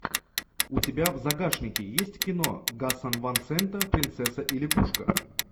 у тебя в загашнике есть кино гаса ван сента принцесса и лягушка